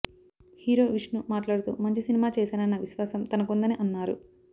hero Vishnu మాట్లాడుతూ మంచి సినిమా చేసానన్న విశ్వాసం తనకుందని అన్నారు